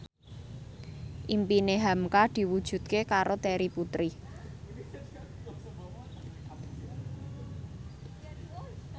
impine hamka diwujudke karo Terry Putri